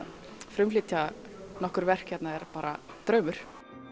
frumflytja nokkur verk hérna er bara draumur